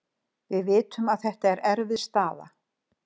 Við vitum að þetta er erfið staða.